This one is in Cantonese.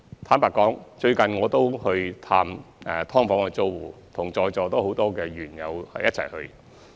坦白說，最近我也有探訪"劏房"租戶，是與在座很多議員一起去的。